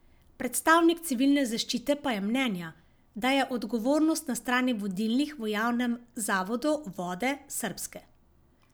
Predstavnik civilne zaščite pa je mnenja, da je odgovornost na strani vodilnih v javnem zavodu Vode srpske.